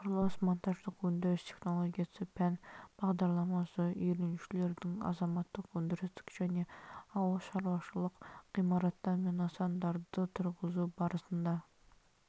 құрылыс-монтаждық өндіріс технологиясы пән бағдарламасы үйренушілердің азаматтық өндірістік және ауыл шаруашылық ғимараттар мен нысандарды тұрғызу барысында